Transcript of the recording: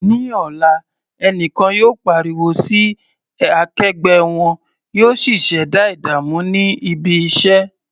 Ní ọ̀la, ẹnìkan yóò pariwo sí akẹgbẹ́ wọn, yóò sì ṣẹ̀dá ìdààmú ní ibi iṣẹ́.